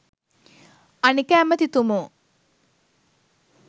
අනික ඇමතිතුමෝ